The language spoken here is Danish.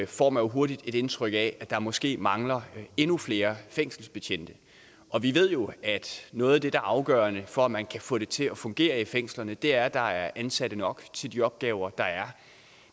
får man hurtigt et indtryk af at der måske mangler endnu flere fængselsbetjente og vi ved jo at noget af det er afgørende for at man kan få det til at fungere i fængslerne er at der er ansatte nok til de opgaver der er